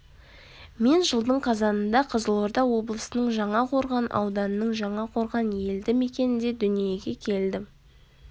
мен жылдың қазанында қызылорда облысының жаңақорған ауданының жаңақорған елді мекенінде дүниеге келдім